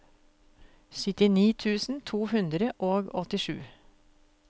syttini tusen to hundre og åttisju